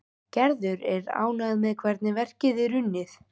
Gerður er ánægð með hvernig verkið er unnið.